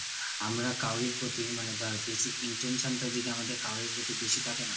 আমরা কারও প্রতি মানে ধর বেশি intention টা যদি আমাদের কারো প্রতি বেশি থাকে না